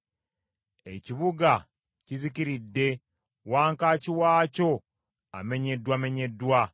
Ekibuga kizikiridde wankaaki waakyo amenyeddwamenyeddwa.